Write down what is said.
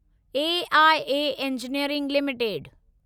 AIA engineering limited